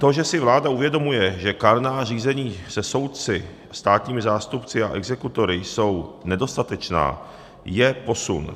To, že si vláda uvědomuje, že kárná řízení se soudci, státními zástupci a exekutory jsou nedostatečná, je posun.